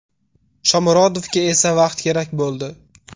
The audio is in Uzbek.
Shomurodovga esa vaqt kerak bo‘ldi.